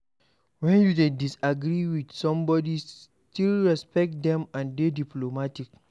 When you dey disagree with somebody still respect them and dey diplomatic